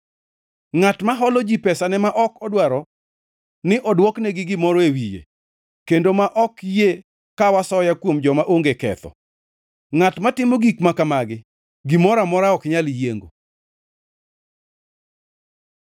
Ngʼat ma holo ji pesane ma ok odwaro ni odwokne gi gimoro e wiye kendo ma ok yie kaw asoya kuom joma onge ketho. Ngʼat matimo gik makamagi gimoro amora ok nyal yiengo.